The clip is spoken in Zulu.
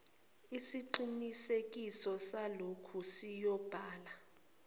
isiqinisekiso salokhu siyobhala